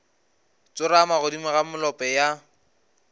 tsorama godimo ga molope ya